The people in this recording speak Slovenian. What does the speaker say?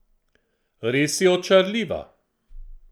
Res je očarljiva!